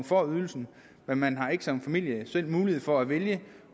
får ydelsen men man har ikke som familie selv mulighed for at vælge